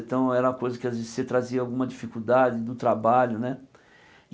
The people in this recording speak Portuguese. Então era uma coisa que às vezes você trazia alguma dificuldade no trabalho né.